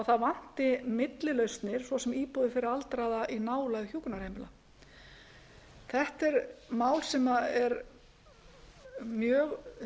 það vanti millilausnir svo sem íbúðir fyrir aldraða í nálægð hjúkrunarheimila þetta er mál sem er mjög